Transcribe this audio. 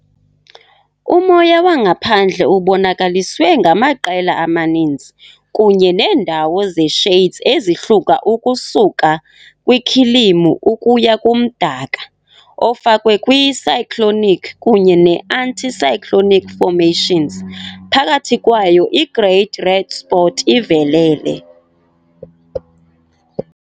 Umoya wangaphandle ubonakaliswe ngamaqela amaninzi kunye neendawo ze-shades ezihluka ukusuka kwikhilimu ukuya kumdaka, ofakwe kwi- cyclonic kunye ne-anticyclonic formations, phakathi kwayo i- Great Red Spot ivelele.